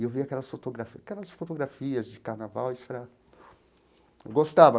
E eu via aquelas fotografia aquelas fotografias de carnaval isso é...gostava.